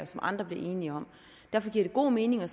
som andre bliver enige om derfor giver det god mening at